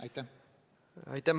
Aitäh!